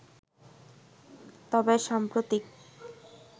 তবে সাম্প্রতিক